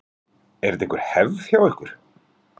Er þetta einhver hefð hjá ykkur?